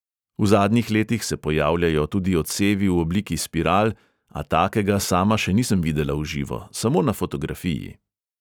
V zadnjih letih se pojavljajo tudi odsevi v obliki spiral, a takega sama še nisem videla v živo, samo na fotografiji.